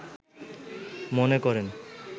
মনে করেন